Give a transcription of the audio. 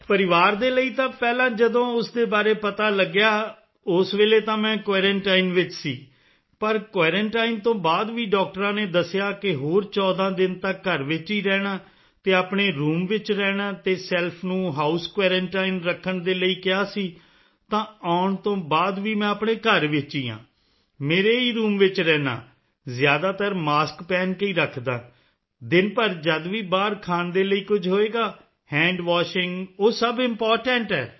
ਪਰਿਵਾਰ ਦੇ ਲਈ ਤਾਂ ਪਹਿਲਾਂ ਜਦੋਂ ਉਸ ਦੇ ਬਾਰੇ ਪਤਾ ਲੱਗਿਆ ਉਸ ਵੇਲੇ ਤਾਂ ਮੈਂ ਕੁਆਰੰਟਾਈਨ ਵਿੱਚ ਸੀ ਪਰ ਕੁਆਰੰਟਾਈਨ ਤੋਂ ਬਾਅਦ ਵੀ ਡਾਕਟਰਾਂ ਨੇ ਦੱਸਿਆ ਕਿ ਹੋਰ 14 ਦਿਨ ਤੱਕ ਘਰ ਵਿੱਚ ਰਹਿਣਾ ਹੈ ਅਤੇ ਆਪਣੇ ਰੂਮ ਵਿੱਚ ਰਹਿਣਾ ਅਤੇ ਸੈਲਫ ਨੂੰ ਹਾਉਸ ਕੁਆਰੰਟਾਈਨ ਰੱਖਣ ਦੇ ਲਈ ਕਿਹਾ ਸੀ ਤਾਂ ਆਉਣ ਤੋਂ ਬਾਅਦ ਵੀ ਮੈਂ ਆਪਣੇ ਘਰ ਵਿੱਚ ਹੀ ਹਾਂ ਮੇਰੇ ਹੀ ਰੂਮ ਵਿੱਚ ਰਹਿੰਦਾ ਹਾਂ ਜ਼ਿਆਦਾਤਰ ਮਾਸਕ ਪਹਿਨ ਕੇ ਹੀ ਰੱਖਦਾ ਹਾਂ ਦਿਨ ਭਰ ਜਦ ਵੀ ਬਾਹਰ ਖਾਣ ਦੇ ਲਈ ਕੁਝ ਹੋਵੇਗਾ Hand Washingਉਹ ਸਭ ਇੰਪੋਰਟੈਂਟ ਹੈ